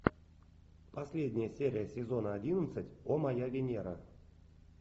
последняя серия сезона одиннадцать о моя венера